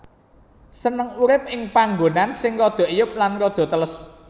Seneng urip ing panggonan sing rada eyub lan rada teles